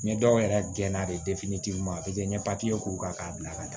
N ye dɔw yɛrɛ gɛn na bi u ma n ye k'u kan k'a bila ka taa